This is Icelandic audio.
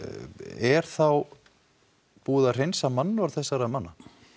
er þá búið að hreinsa mannorð þessara manna